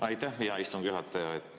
Aitäh, hea istungi juhataja!